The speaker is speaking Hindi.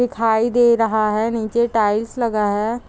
दिखाई दे रहा है निचे टाइल्स लगा है।